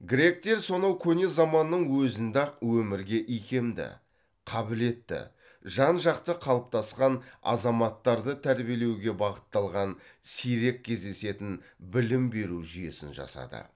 гректер сонау көне заманның өзінде ақ өмірге икемді қабілетті жан жақты қалыптасқан азаматтарды тәрбиелеуге бағытталған сирек кездесетін білім беру жүйесін жасады